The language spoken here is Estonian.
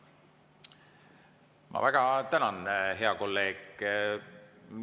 Ma väga tänan, hea kolleeg!